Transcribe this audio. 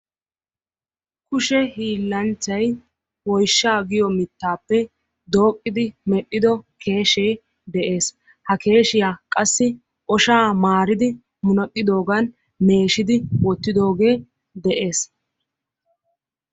Kushe hiilanchchay woyshsha giyo mittappe dooqqidi medhdhido keeshshe de'ees. Ha keeshshiya qassi oshshaa maaridi munnaqqidoogan meeshshidi wottidooge de'ees.